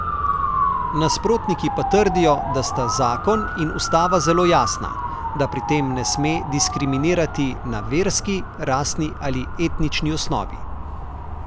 Nasprotniki pa trdijo, da sta zakon in ustava zelo jasna, da pri tem ne sme diskriminirati na verski, rasni ali etnični osnovi.